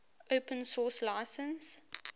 open source license